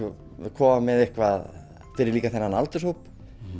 koma með eitthvað fyrir þennan aldurshóp